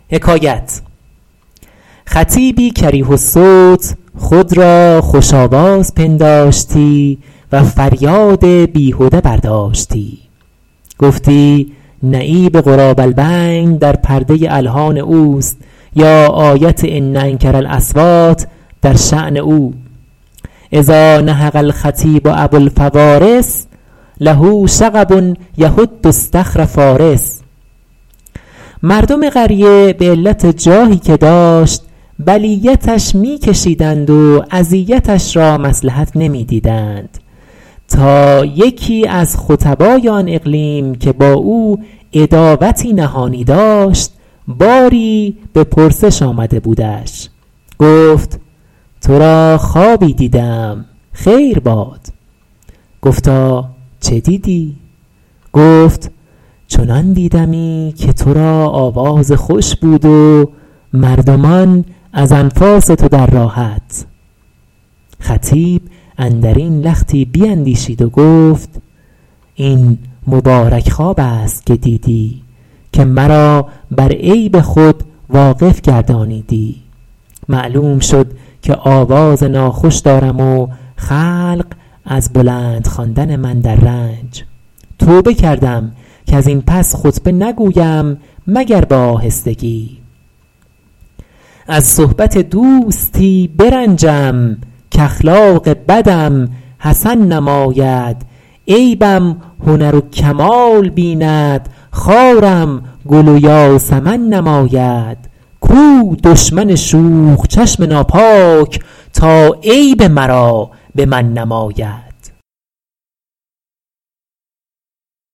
خطیبی کریه الصوت خود را خوش آواز پنداشتی و فریاد بیهده برداشتی گفتی نعیب غراب البین در پرده الحان اوست یا آیت ان انکر الاصوات در شأن او اذا نهق الخطیب ابوالفوارس له شغب یهد اصطخر فٰارس مردم قریه به علت جاهی که داشت بلیتش می کشیدند و اذیتش را مصلحت نمی دیدند تا یکی از خطبای آن اقلیم که با او عداوتی نهانی داشت باری به پرسش آمده بودش گفت تو را خوابی دیده ام خیر باد گفتا چه دیدی گفت چنان دیدمی که تو را آواز خوش بود و مردمان از انفاس تو در راحت خطیب اندر این لختی بیندیشید و گفت این مبارک خواب است که دیدی که مرا بر عیب خود واقف گردانیدی معلوم شد که آواز ناخوش دارم و خلق از بلند خواندن من در رنج توبه کردم کز این پس خطبه نگویم مگر به آهستگی از صحبت دوستی برنجم کاخلاق بدم حسن نماید عیبم هنر و کمال بیند خارم گل و یاسمن نماید کو دشمن شوخ چشم ناپاک تا عیب مرا به من نماید